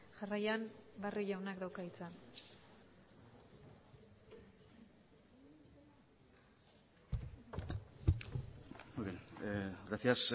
jarraian barrio jaunak dauka hitza muy bien gracias